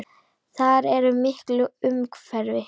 Þar er mikil umferð.